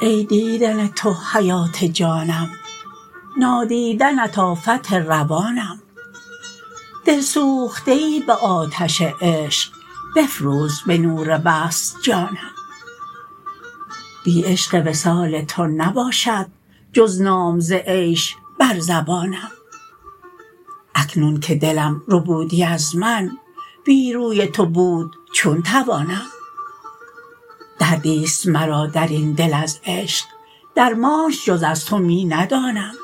ای دیدن تو حیات جانم نادیدنت آفت روانم دل سوخته ای به آتش عشق بفروز به نور وصل جانم بی عشق وصال تو نباشد جز نام ز عیش بر زبانم اکنون که دلم ربودی از من بی روی تو بود چون توانم دردیست مرا درین دل از عشق درمانش جز از تو می ندانم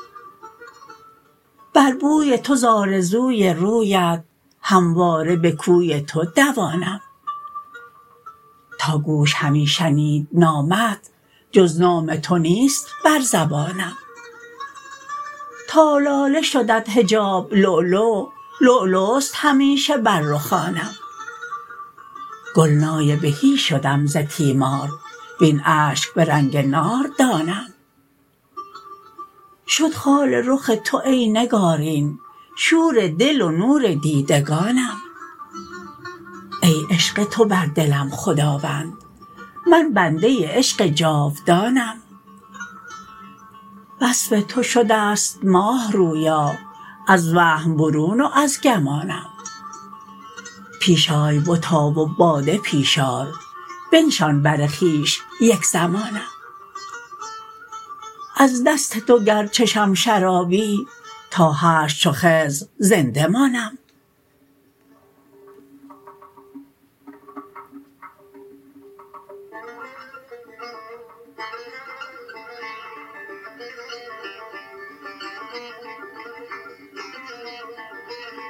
بر بوی تو ز آرزوی رویت همواره به کوی تو دوانم تا گوش همی شنید نامت جز نام تو نیست بر زبانم تا لاله شدت حجاب لولو لولوست همیشه بر رخانم گلنای بهی شدم ز تیمار وین اشک به رنگ ناردانم شد خال رخ تو ای نگارین شور دل و نور دیدگانم ای عشق تو بر دلم خداوند من بنده عشق جاودانم وصف تو شدست ماهرویا از وهم برون و از گمانم پیش آی بتا و باده پیش آر بنشان بر خویش یک زمانم از دست تو گر چشم شرابی تا حشر چو خضر زنده مانم